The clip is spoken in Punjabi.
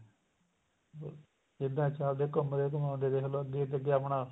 ਅਹ ਜਿੱਦਾਂ ਆਹ ਦੇਖੋ ਘੁੰਮਦੇ ਘੁੰਮਾਦੇ ਦੇਖਲੋ ਆਪਣਾ